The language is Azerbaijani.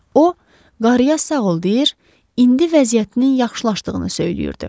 O, qarıya sağ ol deyir, indi vəziyyətinin yaxşılaşdığını söyləyirdi.